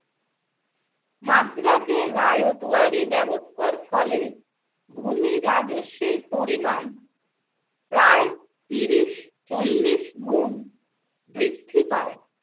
মাদ্রাজে রায়তওয়ারি ব্যবস্থার ফলে ভূমি রাজস্বের পরিমাণ প্রায় তিরিশ চল্লিশ গুণ বৃদ্ধি পায় ।